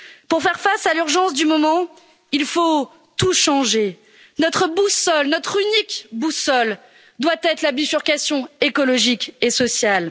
Pour faire face à l'urgence du moment, il faut tout changer notre unique boussole doit être la bifurcation écologique et sociale.